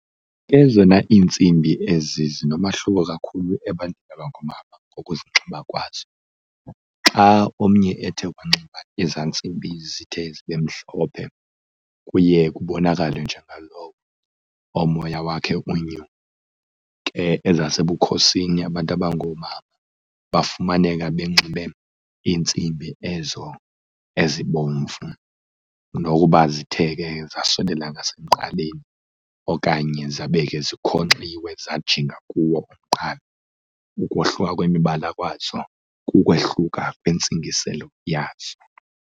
Ezona iintsimbi ezi zinomahluko kakhulu ebantwini abangoomama ngokuzinxiba kwazo. Xa omnye ethe wanxiba ezaa ntsimbi zithe zibe mhlophe kuye kubonakale njengalowo omoya wakhe unyuke ezasebukhosini. Abantu abangoomama bafumaneka benxibe iintsimbi ezo ezibomvu nokuba zithe ke zasondela ngasemqaleni okanye zabe ke zikhonkxiwe zajinga kuwo umqala. Ukohluka kwemibala kwazo, kukwehluka kwentsingiselo yazo.